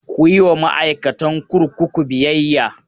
Ku yi wa ma'aikatan kurkuku biyayya!